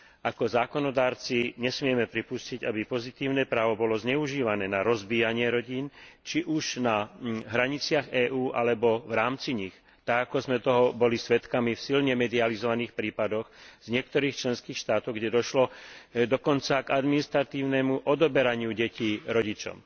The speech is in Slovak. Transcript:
Ako zákonodarcovia nesmieme pripustiť, aby pozitívne právo bolo zneužívané na rozbíjanie rodín, či už na hraniciach EÚ alebo v rámci nich, tak ako sme toho boli svedkami v silne medializovaných prípadoch z niektorých členských štátov, kde došlo dokonca k administratívnemu odoberaniu detí rodičom.